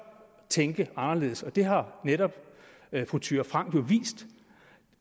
tænke anderledes og det har netop fru thyra frank jo vist